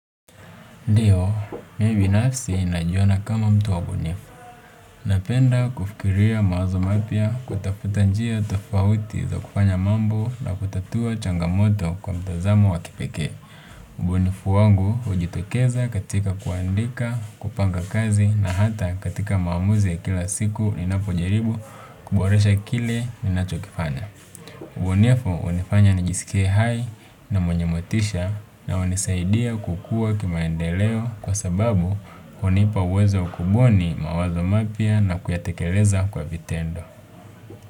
Ndiyo, mimi nafsi najiona kama mtu wa bunifu. Napenda kufikiria mawazo mapya kutafuta njia tofauti za kufanya mambo na kutatua changamoto kwa mtazamo wa kipeke. Ubunifu wangu hujitokeza katika kuandika, kupanga kazi na hata katika maamuzi ya kila siku ni napojaribu kuboresha kile ninachokifanya. Ubunifu hunifanya nijisike hai na mwenye motisha na hunisaidia kukua kimaendeleo kwa sababu hunipa uwezo wa kubuni mawazo mapya na kuyatekeleza kwa vitendo.